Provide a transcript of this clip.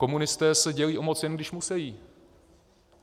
Komunisté se dělí o moc, jen když musejí.